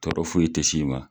Tɔɔrɔ foyi te s'i ma.